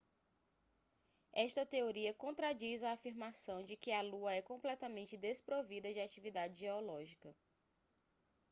esta teoria contradiz a afirmação de que a lua é completamente desprovida de atividade geológica